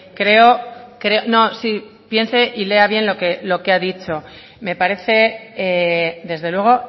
creo no sí piense y lea bien lo que ha dicho me parece desde luego